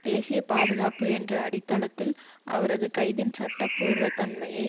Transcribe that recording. தேசிய பாதுகாப்பு என்ற அடித்தளத்தில் அவரது கைதின் சட்ட பூர்வ தன்மையை